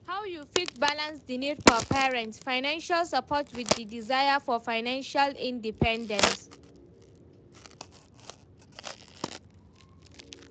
How you fit balance di need for parents' financial support with di desire for financial independence?